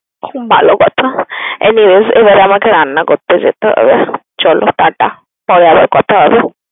ভালো কথা, এই মেয়ে এবার আমাকে রান্না করতে যেতে হবে। চলো tata পরে আবার কথা হবে।